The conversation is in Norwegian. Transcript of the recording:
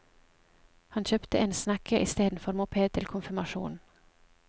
Han kjøpte en snekke istedenfor moped til konfirmasjonen.